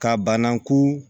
Ka banaku